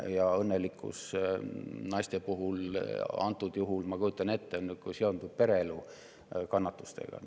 Ja õnnelikkus naiste puhul antud juhul, ma kujutan ette, seondub sellega,.